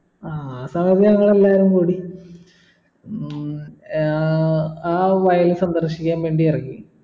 ആ ആസമയത്ത് ഞങ്ങളെല്ലാരും കൂടി ഹും ആഹ് ആ വയൽ സന്ദർശിക്കാൻ വേണ്ടി ഇറങ്ങി